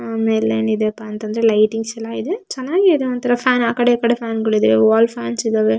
ಆಮೇಲೆ ಏನಿದೆಯಪ್ಪಾ ಅಂತಂದ್ರೆ ಲೈಟಿಂಗ್ಸ್ ಎಲ್ಲ ಇದೆ ಚೆನ್ನಾಗಿ ಇದೆ ಒಂತರ ಫ್ಯಾನ್ ಆಕಡೆ ಈಕಡೆ ಫ್ಯಾನ್ಗಳಿವೆ ವಾಲ್ ಫ್ಯಾನ್ಸ್ ಇದ್ದಾವೆ.